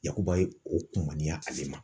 Yakuba ye o kumaniya ale ma.